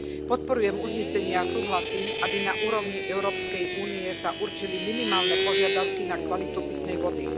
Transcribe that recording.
Podporujem uznesenie a súhlasím, aby sa na úrovni Európskej únie určili minimálne požiadavky na kvalitu pitnej vody.